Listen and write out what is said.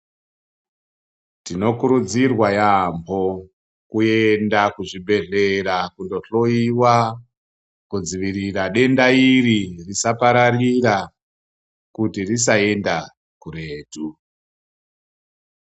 Tinokurudzirwa yambo kuenda ku zvibhedhlera kundo hloyiwa kudzivira denda iri risa pararira kuti risa enda kuretu.